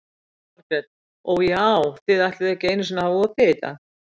Jóhanna Margrét: Og já, þið ætluðuð ekki einu sinni að hafa opið í dag?